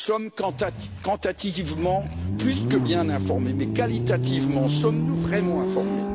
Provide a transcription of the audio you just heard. Nous sommes quantitativement plus que bien informés mais, qualitativement, sommes nous vraiment informés?